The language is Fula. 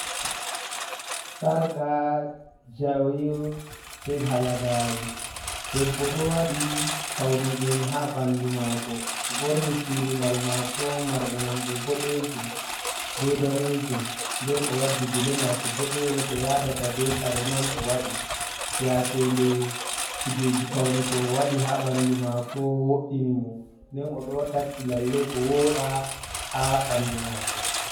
Sarga jawe pe halagare. Ɗebbo ɗo waɗi paune. Ɗen ha banɗu mako o borni surugal mako marɗe non ɗe boɗejum be ɗanejum. Nɗen o waɗɗi gele mako boɗeyel ko yaɗata be kare man o waɗi yake nde kujeji paune ko owaɗi ha banɗu mako woɗini mo. Nɗen odo takki lalle ko woɗa ha banɗu mako.